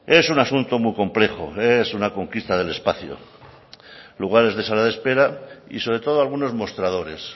es un asunto muy complejo es una conquista del espacio lugares de sala de espera y sobre todo algunos mostradores